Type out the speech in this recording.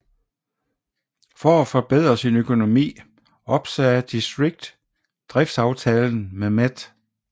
For at forbedre sin økonomi opsagde District driftsaftalen med Met